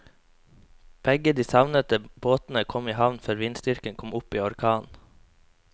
Begge de savnede båtene kom i havn før vindstyrken kom opp i orkan.